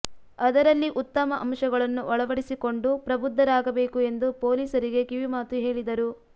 ಅದರಲ್ಲಿ ಉತ್ತಮ ಅಂಶಗಳನ್ನು ಅಳವಡಿಸಿಕೊಂಡು ಪ್ರಬುದ್ಧರಾಗಬೇಕು ಎಂದು ಪೊಲೀಸರಿಗೆ ಕಿವಿಮಾತು ಹೇಳಿದರು